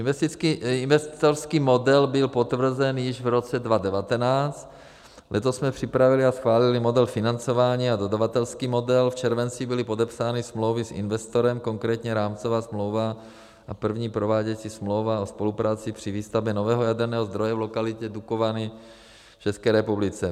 Investorský model byl potvrzen již v roce 2019, letos jsme připravili a schválili model financování a dodavatelský model, v červenci byly podepsány smlouvy s investorem, konkrétně rámcová smlouva a první prováděcí smlouva o spolupráci při výstavbě nového jaderného zdroje v lokalitě Dukovany v České republice.